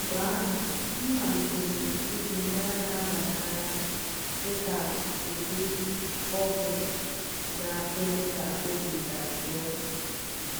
Mgbe ahụ, m malitere iji mmanya na-aba n’anya dị ka ụdị ọgwụ na-eme ka obi dajụọ.